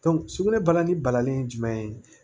sugunɛ balanani balani ye jumɛn ye